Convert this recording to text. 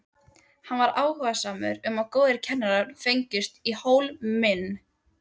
Hann var áhugasamur um að góðir kennarar fengjust í Hólminn.